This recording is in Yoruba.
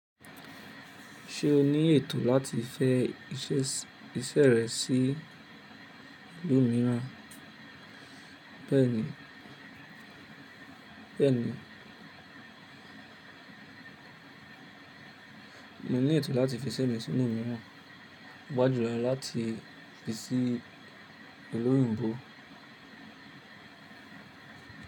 Ṣé o ní ètò láti fẹ iṣẹ́ rẹ sí ìlú mìíràn? Bẹ́ẹ̀ni, bẹ́ẹ̀ni. Mo ní ètò láti fi iṣẹ́ mi sí ìlú mìíràn. Paápa julọ́ láti fi sí ìlú oyìnbó.